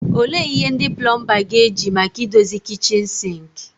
Olee ihe ndị plomba ga-eji maka idozi kichin sinki?